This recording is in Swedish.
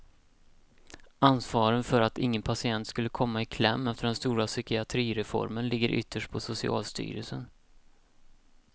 Ansvaret för att ingen patient skulle komma i kläm efter den stora psykiatrireformen ligger ytterst på socialstyrelsen.